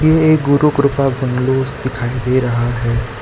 यह एक गुरु कृपा बंगलो दिखाई दे रहा है।